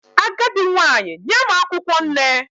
Agadi nwanyi nye m akwukwo nne